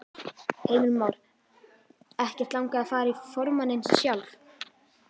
Heimir Már: Ekkert langað að fara í formanninn sjálf?